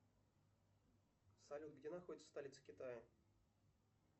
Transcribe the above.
салют где находится столица китая